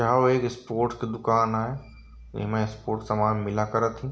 यहाँ वो एक स्पोर्ट्स की दुकान है। इमे स्पोर्ट्स समान मिला करत ही ।